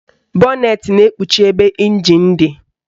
Bọnetị na-ekpuchi ebe ịnjin dị